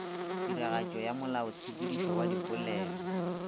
tiragatšo ya molaotshepetšo wa dipolelo